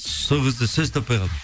сол кезде сөз таппай қалдым